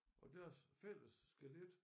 Og deres fælles skelet